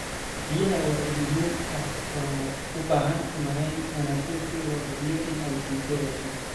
Biyaha waa il muhiim ah oo u baahan maarayn wanaagsan si loo hubiyo in ay sii jireyso.